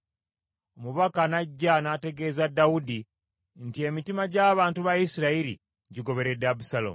Omubaka n’ajja n’ategeeza Dawudi nti, “Emitima gy’abantu ba Isirayiri gigoberedde Abusaalomu.”